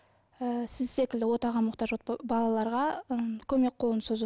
ы сіз секілді отаға мұқтаж балаларға ы көмек қолын созу